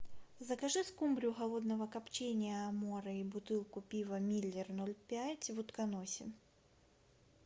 закажи скумбрию холодного копчения аморе и бутылку пива миллер ноль пять в утконосе